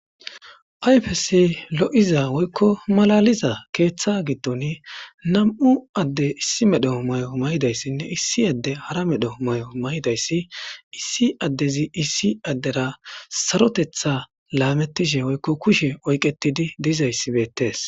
ayfesi lo7iza woykko malaliza keeththa giddon nam7u adde issi medhoo may7o may7idayssinne issi adde hara medhoo may7o may7dayssi issi addezi issi addera sarotetha laamettishe woykko kushe oyqetidi dizayssi beettees